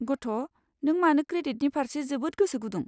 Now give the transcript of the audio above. गथ', नों मानो क्रेडिटनि फारसे जोबोद गोसो गुदुं?